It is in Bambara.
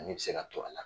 Ani bɛ se ka to a la